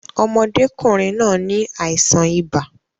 Ọmọdékùnrin náà ni àìsàn ibà